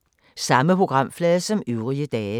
Samme programflade som øvrige dage